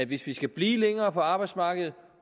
vi skal blive længere på arbejdsmarkedet